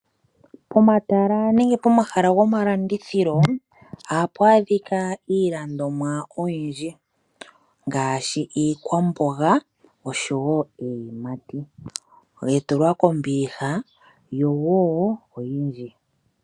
Pomatala nenge pomahala gomalandithilo oha pu adhika iilandomwa oyindji ngaashi iikwamboga osho wo iiyimati ya tulwa kombiliha yo oyindji.